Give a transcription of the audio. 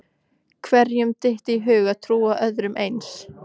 Hverjum dytti í hug að trúa öðru eins?